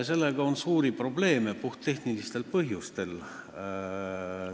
Sellega on suuri probleeme puhttehnilistel põhjustel.